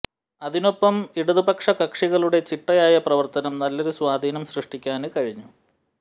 അതിനൊപ്പം ഇടതുപക്ഷ കക്ഷികളുടെ ചിട്ടയായ പ്രവര്ത്തനം നല്ലൊരു സ്വാധീനം സൃഷ്ടിക്കാന് കഴിഞ്ഞു